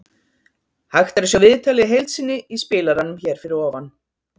Hægt er að sjá viðtalið í heild sinni í spilaranum hér fyrir ofan.